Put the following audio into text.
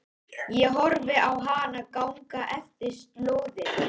Ég horfi á hana ganga eftir slóðinni.